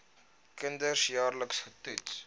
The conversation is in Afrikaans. kinders jaarliks getoets